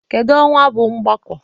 Kedu ọnwa bụ ogbako?